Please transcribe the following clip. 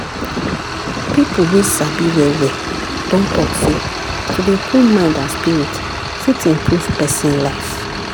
pipo wey sabi well well don talk say to dey cool mind and spirit fit improve pesin life.